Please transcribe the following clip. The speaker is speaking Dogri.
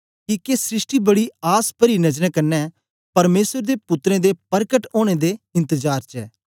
किके सृष्टि बड़ी आस परी नजरें कन्ने परमेसर दे पुत्रें दे परकट ओनें दे इंतजार च ऐ